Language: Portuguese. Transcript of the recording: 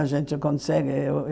A gente consegue.